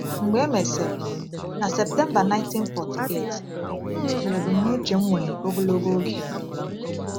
Mgbe e mesịrị, na Septemba 1948, m rụzuru ebumnuche m nwere ogologo oge.